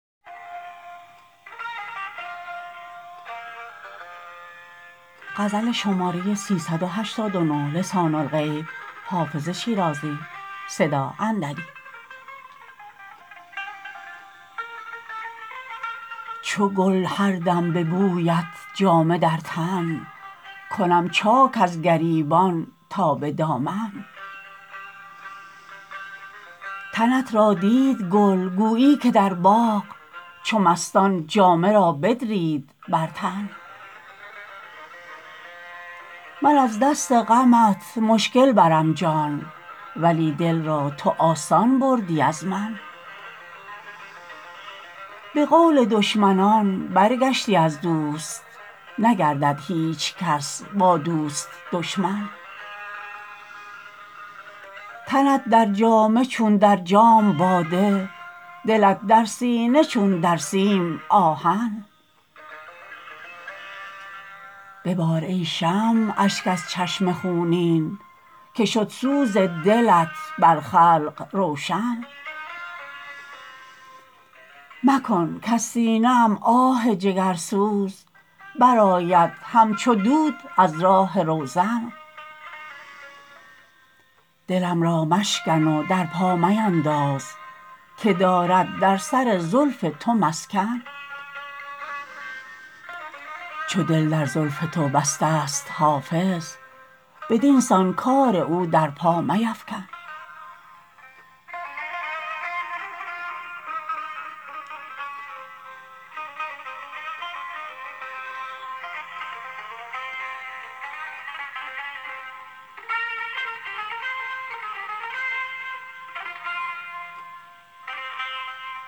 چو گل هر دم به بویت جامه در تن کنم چاک از گریبان تا به دامن تنت را دید گل گویی که در باغ چو مستان جامه را بدرید بر تن من از دست غمت مشکل برم جان ولی دل را تو آسان بردی از من به قول دشمنان برگشتی از دوست نگردد هیچ کس با دوست دشمن تنت در جامه چون در جام باده دلت در سینه چون در سیم آهن ببار ای شمع اشک از چشم خونین که شد سوز دلت بر خلق روشن مکن کز سینه ام آه جگرسوز برآید همچو دود از راه روزن دلم را مشکن و در پا مینداز که دارد در سر زلف تو مسکن چو دل در زلف تو بسته ست حافظ بدین سان کار او در پا میفکن